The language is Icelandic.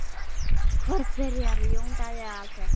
Hvor byrjar, Jón Daði eða Alfreð?